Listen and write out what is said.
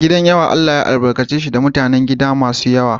Gidan yawa Allah ya albarkace shi da mutanen gida masu yawa.